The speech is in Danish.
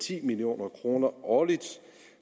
ti million kroner årligt